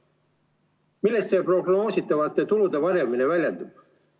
Milles see prognoositavate tulude varjamine väljendub?